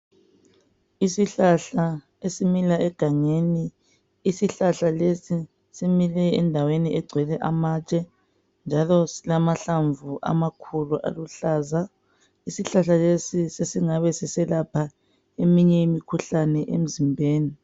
Isihlahla esimila egangeni .Isihlahla lesi simile endaweni egcwele amatshe njalo silamahlamvu amakhulu aluhlaza. Isihlahla lesi sesingabe siselapha eminye imikhuhlane emzimbeni